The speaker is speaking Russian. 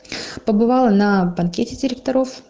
побывала на банкете директоров